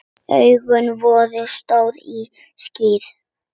Augun voru stór og skýr.